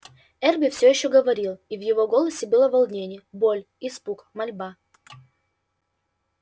эрби все ещё говорил и в его голосе было волнение боль испуг мольба